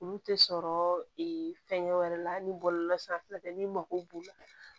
Olu tɛ sɔrɔ fɛnkɛ wɛrɛ la ni bɔlɔlɔsira fɛ n'i mago b'u la